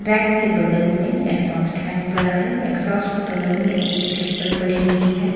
Bag के बगल में एकझोस्ट फैन पडा है एकझोस्ट के बगल में एक चप्पल पडी हुई है।